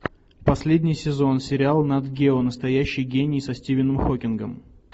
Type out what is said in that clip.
последний сезон сериал нат гео настоящий гений со стивеном хокингом